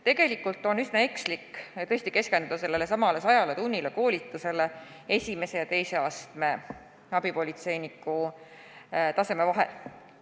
Tegelikult on tõesti üsna ekslik keskenduda sellelesamale sajatunnisele koolitusele, mis jääb abipolitseinike puhul esimese ja teise astme vahele.